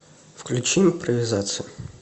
включи импровизацию